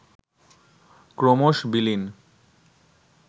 ক্রমশ: বিলীন